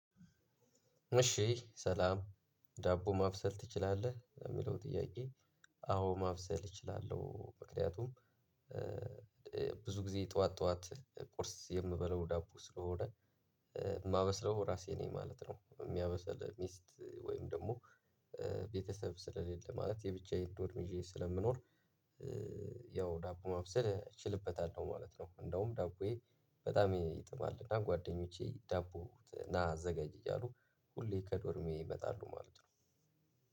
እሺ ሰላም ዳቦ ማብሰል ትችላለህ ሚለው ጥያቄ? አዎ ማብሰል እችላለሁ ምክንያቱም ብዙ ጊዜ ጠዋት ጠዋት ቁርስ የምበላው ዳቦ ስለሆነ ማበስለው ራሴ ነኝ ማለት ነው። ሚያበስለው ሚስት ወይም ደሞ ቤተሰብ ስለሌለ ማለት የብቻዬን ዶርም ይዤ ስለምኖር። ያው ዳቦ ማብሰል እችልበታለሁ ማለት ነው። እንደውም ዳቦዬ በጣም ይጥማልና ጓደኞቼ ዳቦ ና አዘጋጅ እያሉ ሁሌ ከዶርሜ ይመጣሉ ማለት ነው።